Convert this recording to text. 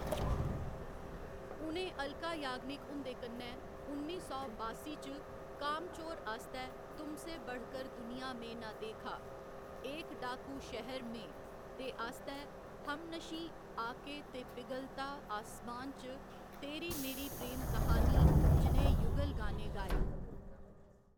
उ'नें अलका याग्निक हुं'दे कन्नै उन्नी सौ बासी च कामचोर आस्तै तुमसे बढ़कर दुनिया में ना देखा, एक डाकू शहर में दे आस्तै, हमनशीं आके ते पिघलता आसमान च तेरी मेरी प्रेम क्हानी जनेह् युगल गाने गाए।